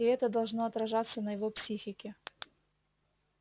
и это должно отражаться на его психике